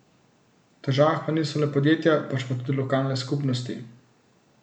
V težavah pa niso le podjetja, pač pa tudi lokalne skupnosti.